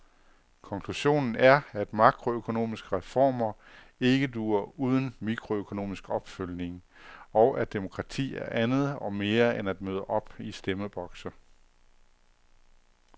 Konklusionen er, at makroøkonomiske reformer ikke duer uden mikroøkonomisk opfølgning, og at demokrati er andet og mere end at møde op i stemmebokse.